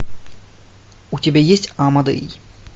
у тебя есть амадей